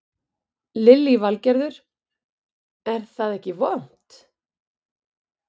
Lillý Valgerður: Er það ekkert vont?